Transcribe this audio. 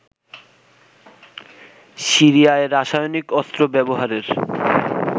সিরিয়ায় রাসায়নিক অস্ত্র ব্যবহারের